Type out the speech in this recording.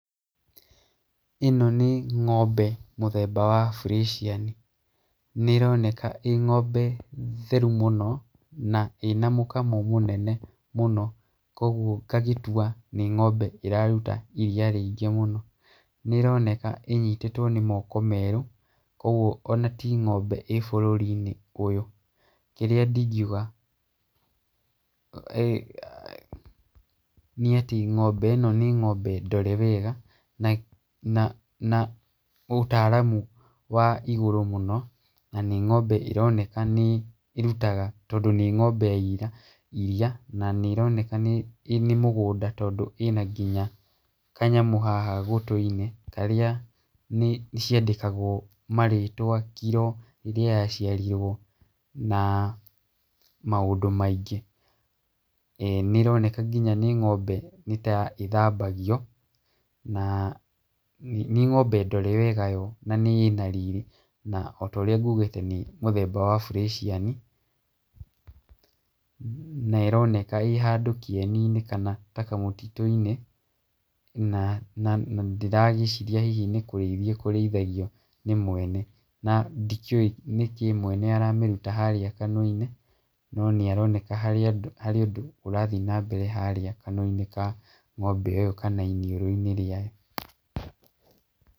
ĩno nĩ ng'ombe mũthemba wa burĩciani. Nĩ ĩroneka ĩ ng'ombe theru mũno na ĩna mũkamo mũnene mũno, koguo ngagĩtua nĩ ng'ombe ĩraruta iria rĩingĩ mũno. Nĩ ĩroneka ĩnyitĩtwo nĩ moko merũ, koguo ona ti ng'ombe ĩ bũruri-inĩ ũyũ. Kĩrĩa ndingiuga nĩ atĩ ng'ombe ĩno nĩ ng'ombe ndore wega na na na ũtaaramu wa igurũ mũno, na nĩ ng'ombe ĩroneka nĩ ĩrutaga tondũ nĩ ng'ombe ya ira iria. Na nĩ ĩroneka nĩ nĩ mugũnda tondũ ĩna nginya kanyamũ haha gũtũ-inĩ karĩa nĩ ciandĩkagwo marĩtwa, kiro, rĩrĩa yaciarirwo na maũndũ maingĩ. Nĩ ĩroneka nginya nĩ ng'ombe nĩ ta ĩthambagio, na nĩ ng'ombe ndore wega yo na ĩna riri. Na otorĩa ngugĩte nĩ mũthemba wa burĩciani. na ĩroneka ĩ handũ kĩeni-inĩ kanata kamũtitũ-inĩ, na na nandĩragĩciria hihi ni kurĩithio ĩkũrĩithagio nĩ mwene. Na ndikĩũĩ nĩkĩĩ mwene aramĩruta harĩa kanua-inĩ no nĩ aroneka harĩ andũ, harĩ ũndũ ũrathiĩ na mbere harĩa kanua-inĩ ka ng'ombe ĩyo kana iniũrũ-inĩ rĩayo.